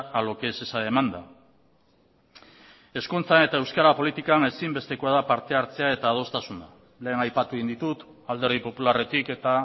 a lo que es esa demanda hezkuntzan eta euskara politikan ezinbestekoa da parte hartzea eta adostasuna lehen aipatu egin ditut alderdi popularretik eta